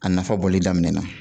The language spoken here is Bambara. A nafa bɔli daminɛ na